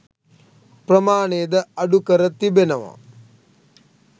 ප්‍රමාණයද අඩුකර තිබෙනවා